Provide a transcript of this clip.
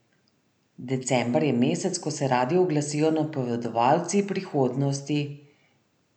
December je mesec, ko se radi oglasijo napovedovalci prihodnosti.